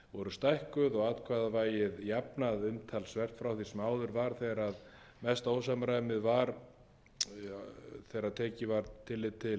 stækkuð og atkvæðavægið jafnað umtalsvert frá því sem áður var þegar mesta ósamræmið var þegar tekið var tillit til